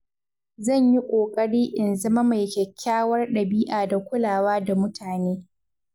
Zan yi ƙoƙari in zama mai kyakkyawar dabi’a da kulawa da mutane.